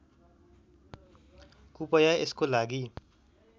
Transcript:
कूपया यसको लागि